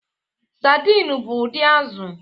Saidin bụ ụdị azụ̀.